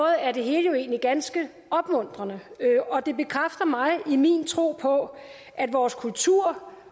er det hele jo egentlig ganske opmuntrende og det bekræfter mig i min tro på at vores kultur